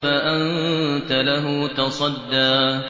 فَأَنتَ لَهُ تَصَدَّىٰ